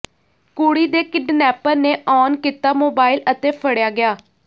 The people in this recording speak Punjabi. ਕੁੜੀ ਦੇ ਕਿਡਨੈਪਰ ਨੇ ਆਨ ਕੀਤਾ ਮੋਬਾਇਲ ਅਤੇ ਫੜ੍ਹਿਆ ਗਿਆ